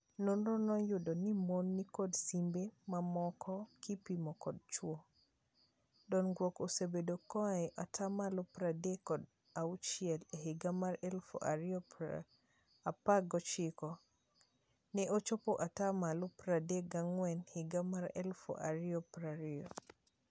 Nonro noyudo ni mon nikod simbe mamoko kipimo kod chwo. Dongruok osebetie koae atamalo pradek kod achiel e higa mar eluf ario apra gochiko. Neochopo atamalo pradek gang'wen higa mar eluf ario prario.